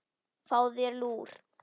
Fáðu þér lúr.